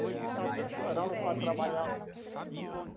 Até chorava para trabalhar.